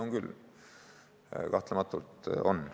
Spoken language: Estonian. On küll, kahtlematult on.